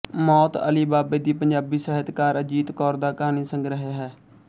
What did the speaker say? ਮੌਤ ਅਲੀ ਬਾਬੇ ਦੀ ਪੰਜਾਬੀ ਸਾਹਿਤਕਾਰ ਅਜੀਤ ਕੌਰ ਦਾ ਕਹਾਣੀ ਸੰਗ੍ਰਹਿ ਹੈ